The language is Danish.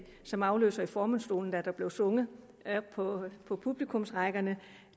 som afløser i formandsstolen da der blev sunget på publikumsrækkerne